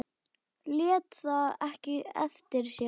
Lét það ekki eftir sér.